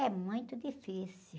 É muito difícil.